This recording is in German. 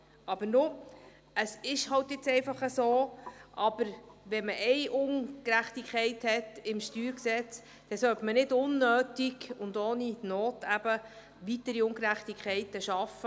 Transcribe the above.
Wenn man aber im Steuergesetz eine Ungerechtigkeit hat, dann sollte man nicht unnötig und ohne Not weitere Ungerechtigkeiten schaffen.